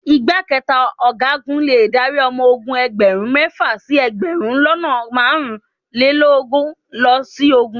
Ìgbákẹta Ọ̀gágun le dárí ọmọ ogun ẹgbẹ̀rún mẹ́fà sí ẹgbẹ̀rún lọ́nà márùn-ún lélógún lọ sógun.